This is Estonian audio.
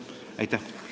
Aitäh!